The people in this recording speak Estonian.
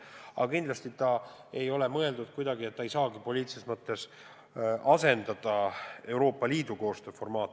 Aga kindlasti see ei ole mõeldud kuidagi nii, et ta asendaks poliitilises mõttes Euroopa Liidu koostööformaati.